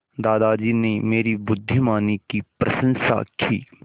दादाजी ने मेरी बुद्धिमानी की प्रशंसा की